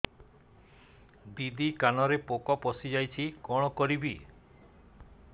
ଦିଦି କାନରେ ପୋକ ପଶିଯାଇଛି କଣ କରିଵି